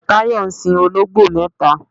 Tayo ń sin olongbo mẹta